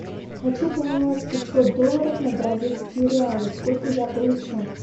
хочу поменять пятьсот долларов на бразильские реалы сколько я получу